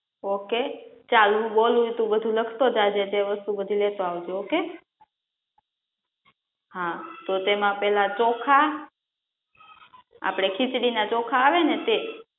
Okay? ચાલ હુ બોલુ એ તુ બધુ લખતો જાજે તે વસ્તુ બધી લેતો આવજે ઓકે. હા તો તેમા પેલા ચોખા, આપડે ખીચડી ના ચોખા આવે ને તે